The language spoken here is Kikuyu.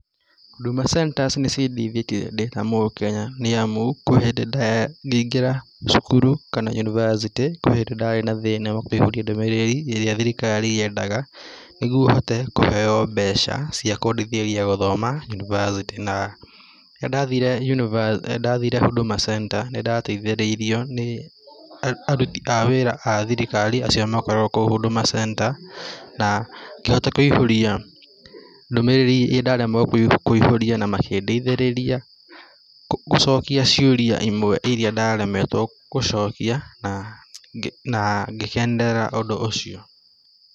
Huduma Centers nĩcindeithĩtie ndĩta mũkenya, nĩamu kwĩ hĩndĩ ngĩingĩra cukuru kana University kwĩ hĩndĩ ndari na thĩna ndiahũrĩtie ndũmĩrĩri ĩrĩa thirikari yendaga nĩguo hote kũheo mbeca cia kũndeithĩrĩria gũthoma University, na rĩrĩa ndathire university, ndathire Huduma Center nĩndateithĩrĩirio nĩ aruti a wĩra a thirikari acio makoragwo kũu Huduma Center na ngĩhota kũiyũria ndũmĩrĩri ĩrĩa ndaremagwo kũiyũria na makĩ ndeithĩrĩria gũcokia ciũria imwe iria ndaremetwo gũcokia na, na ngĩkenerera ũndũ ũcio